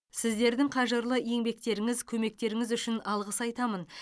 сіздердің қажырлы еңбектеріңіз көмектеріңіз үшін алғыс айтамын